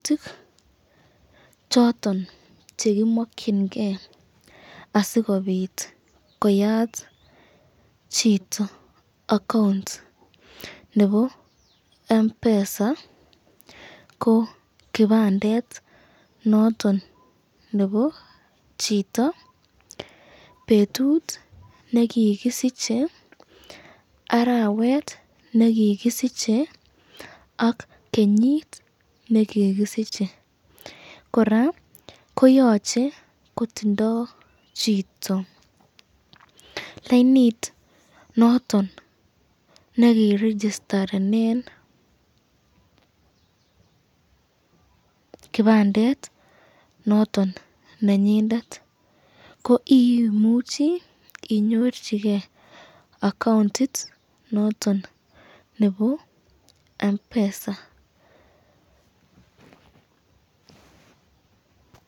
Choton chekimakyinike asikobit koyat chito account nebo Mpesa ko kibandet noton nebo chito, betut nekikisiche arawet nekikisiche ak kenyit nekikisiche, koraa koyache kotindo chito lainit noton nekiregistarenen kibandet noton nenyondet, koimuchi